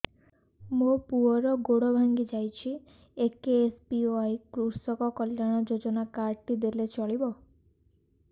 ମୋ ପୁଅର ଗୋଡ଼ ଭାଙ୍ଗି ଯାଇଛି ଏ କେ.ଏସ୍.ବି.ୱାଇ କୃଷକ କଲ୍ୟାଣ ଯୋଜନା କାର୍ଡ ଟି ଦେଲେ ଚଳିବ